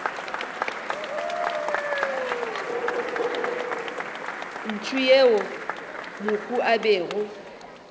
ntsho yeo mohu a bego